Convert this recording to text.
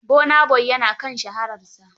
Burna boy ya na kan shararsa.